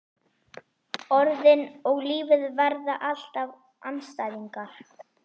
Orðin og lífið verða alltaf andstæðingar.